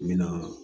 N bɛ na